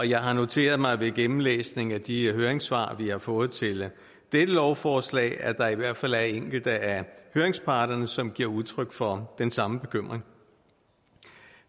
jeg har noteret mig ved gennemlæsning af de høringssvar vi har fået til dette lovforslag at der i hvert fald er enkelte af høringsparterne som giver udtryk for den samme bekymring